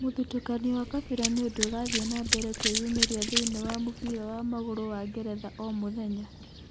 Mũthutũkanio wa kabira nĩũndũ ũrathie na mbere kwĩyumĩria thĩinĩ wa mũbira wa magũrũ wa Ngeretha o mũthenya